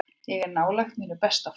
Ég er nálægt mínu besta formi.